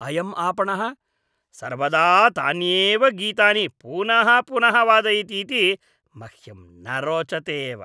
अयम् आपणः सर्वदा तान्येव गीतानि पुनः पुनः वादयतीति मह्यं न रोचते एव।